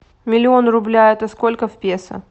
миллион рубля это сколько в песо